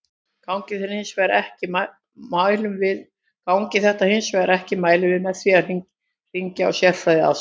Gangi þetta hins vegar ekki mælum við með því að hringja á sérfræðiaðstoð.